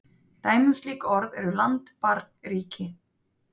Dæmi um slík orð eru land, barn, ríki.